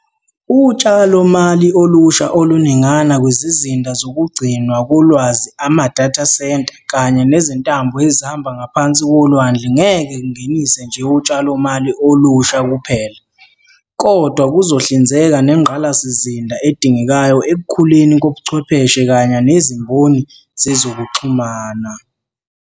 Utshalomali olusha oluningana kwizizinda zokugcinwa kolwazi ama-data centre kanye nezintambo ezihamba ngaphansi kolwandle ngeke kungenise nje utshalomali olusha kuphela, kodwa kuzohlinzeka nengqalasizinda edingekayo ekukhuleni kobuchwepheshe kanye nezimboni zezokuxhu mana.